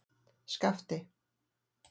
Skapti